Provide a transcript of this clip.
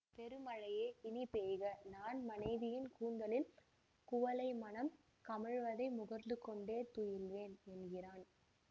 பெருமழையே இனி பெய்க நான் மனைவியின் கூந்தலில் குவளைமணம் கமழ்வதை முகர்ந்துகொண்டே துயில்வேன் என்கிறான்